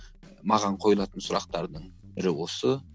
маған қойылатын сұрақтардың бірі осы